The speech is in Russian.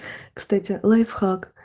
кстати лайфхак